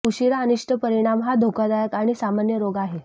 उशिरा अनिष्ट परिणाम हा धोकादायक आणि सामान्य रोग आहे